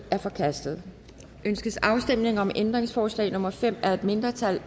er forkastet ønskes afstemning om ændringsforslag nummer fem af et mindretal